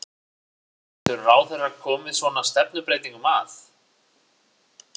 Getur ráðherra komið svona stefnubreytingum að?